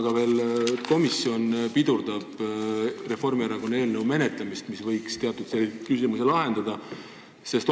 Ja miks komisjon pidurdab Reformierakonna sellesisulise eelnõu menetlemist, kuigi see võiks teatud küsimuse lahendada?